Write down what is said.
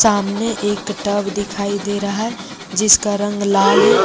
सामने एक टब दिखाई दे रहा है जिसका रंग लाल है।